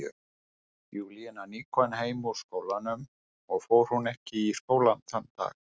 Júlía nýkomin heim úr skólanum, eða fór hún ekki í skólann þann dag?